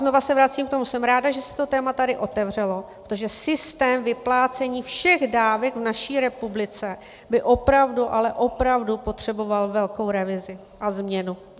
Znovu se vracím k tomu - jsem ráda, že se to téma tady otevřelo, protože systém vyplácení všech dávek v naší republice by opravdu, ale opravdu potřeboval velkou revizi a změnu.